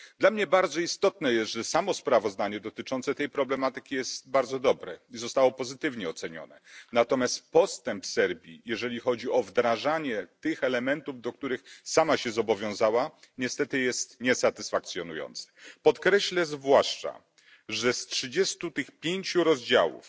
Dla mnie niezwykle ważne jest, że samo sprawozdanie dotyczące tej problematyki jest bardzo dobre i zostało pozytywnie ocenione, natomiast postęp Serbii, jeżeli chodzi o wdrażanie tych elementów, do których sama się zobowiązała, niestety jest niesatysfakcjonujący. Podkreślę zwłaszcza, że z tych 35 rozdziałów